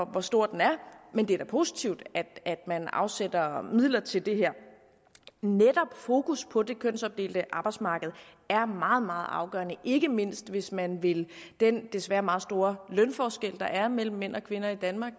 hvor stor den er men det er da positivt at man afsætter midler til det netop fokus på det kønsopdelte arbejdsmarked er meget meget afgørende ikke mindst hvis man vil den desværre meget store lønforskel der er mellem mænd og kvinder i danmark